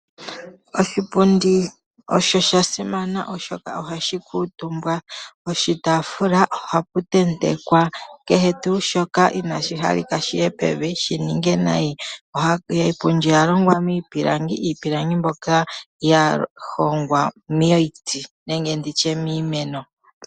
Oshipundi osha simana oshoka oko haku kuutumbwa. Koshitaafula ohaku tentekwa kehe tuu shoka inaashi halika shiye pevi shininge nayi. Iipundi oyalongwa miipilangi. Iipilangi ndyono yahongwa momiti nenge nditye miimeno.